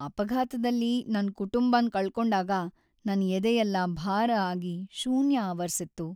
ಅಪಘಾತದಲ್ಲಿ ನನ್ ಕುಟುಂಬನ್ ಕಳ್ಕೊಂಡಾಗ ನಂಗ್‌ ಎದೆಯೆಲ್ಲ ಭಾರ ಆಗಿ ಶೂನ್ಯ ಆವರ್ಸಿತ್ತು.